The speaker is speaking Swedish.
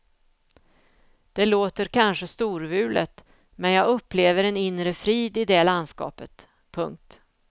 Det låter kanske storvulet men jag upplever en inre frid i det landskapet. punkt